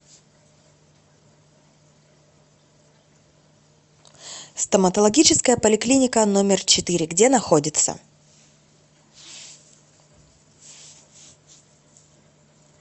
стоматологическая поликлиника номер четыре где находится